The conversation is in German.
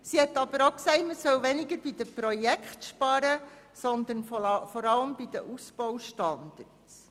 Sie sagte aber auch, es sei weniger bei den Projekten zu sparen, sondern vor allem bei den Ausbaustandards.